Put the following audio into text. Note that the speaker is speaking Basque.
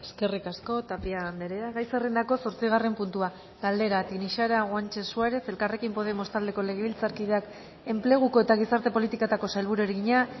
eskerrik asko tapia andrea gai zerrendako zortzigarren puntua galdera tinixara guanche suárez elkarrekin podemos taldeko legebiltzarkideak enpleguko eta gizarte politiketako sailburuari egina